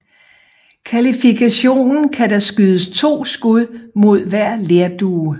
I kvalifikationen kan der skydes to skud mod hver lerdue